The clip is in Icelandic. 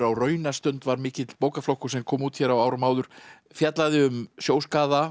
á raunastund var mikill bókaflokkur sem kom út hér á áður áður fjallaði um